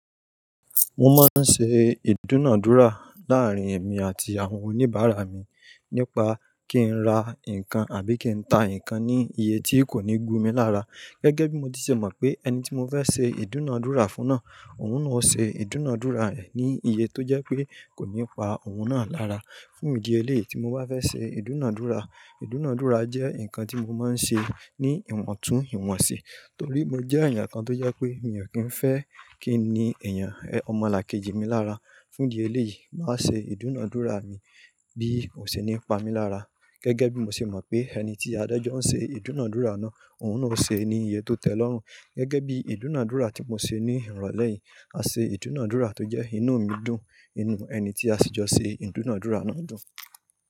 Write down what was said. Mo máa ń ṣe ìdúnàádúrà láà rín èmi àti àwọn oníbàárà mi nípa kí n ra nǹkan àbí kí n ta nǹkan ní iye tí kò ní gun mi lára Gẹ́gẹ́ bí mo ti ṣe mọ̀ pé ẹni tí mo fẹ́ ṣe ìdúnàdúrà fún náà, òun náà ó ṣe ìdúnàdúrà rẹ̀ ní iye tó jẹ́ pé kò ní pa òun náà lára. Fún di ẹ léè yi mo bá fẹ́ ṣe ìdúnádúrà, ìdúnádúrà jẹ́ ǹkan tí mo máa ń ṣe ní ìmọ̀tún ìwọ̀n si torí mo jẹ́ ẹ̀yàn kan tó jẹ́ pé mi ò kí ń fẹ́ kí nii èniyàn ọmọlàkejì mi lára. Fún di e lè yìí, wáa ṣe ìdúnádúrà bí kò ṣe ní pa mí lára gẹ́gẹ́ bí mo ṣe mọ̀ pé ẹni tí aájọ́ ń ṣe ìdúnàdúrà náà, òun náà ó ṣe ní iye tó tẹ́lọ́rùn gẹ́gẹ́ bí ìdúnádúrà tí mo ṣe ní ìrọ̀lẹ́ yìí, a ṣe ìdúnádúrà tó jẹ́ inú mi dùn, inú ẹni tí a sì jọ ṣe ìdúnádúrà náà dùn.